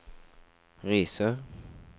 Risør